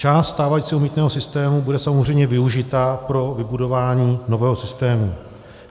Část stávajícího mýtného systému bude samozřejmě využita pro vybudování nového systému.